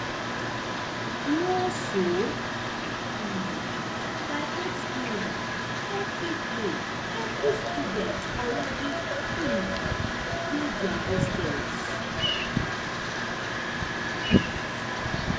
more so um by eight pm evri day evri student already um dey dia hostels